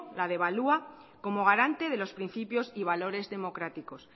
la devalúa como garante de los principios y valores democráticos